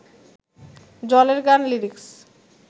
জলের গান লিরিক্স